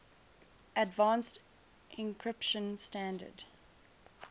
advanced encryption standard